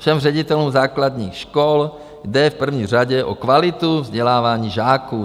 Všem ředitelům základních škol jde v první řadě o kvalitu vzdělávání žáků.